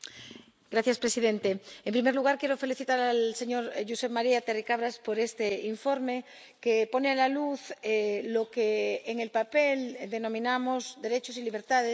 Señor presidente. En primer lugar, quiero felicitar al señor Josep Maria Terricabras por este informe, que saca a la luz lo que en el papel denominamos derechos y libertades